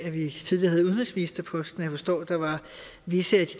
at vi tidligere havde udenrigsministerposten jeg forstår at der var visse af de